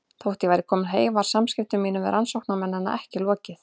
Þótt ég væri komin heim var samskiptum mínum við rannsóknarmennina ekki lokið.